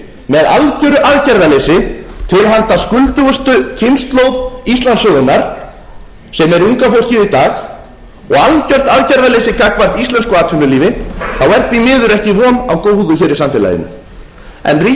með algjöru aðgerðaleysi til handa skuldugustu kynslóð íslandssögunnar sem er unga fólkið í dag og algjört aðgerðaleysi gagnvart íslensku atvinnulífi er því miður ekki von á góðu hér í samfélaginu ríkisstjórnin hefur lagt fram útrétta hönd hér og beðið okkur